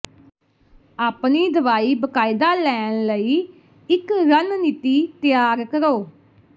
ਆਪਣੀ ਦਵਾਈ ਬਾਕਾਇਦਾ ਲੈਣ ਲਈ ਇੱਕ ਰਣਨੀਤੀ ਤਿਆਰ ਕਰੋ